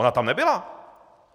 Ona tam nebyla.